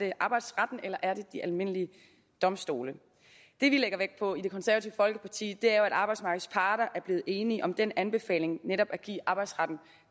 i arbejdsretten eller de almindelige domstole det vi lægger vægt på i det konservative folkeparti er jo at arbejdsmarkedets parter er blevet enige om den anbefaling netop at give arbejdsretten